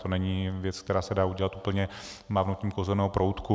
To není věc, která se dá udělat úplně mávnutím kouzelného proutku.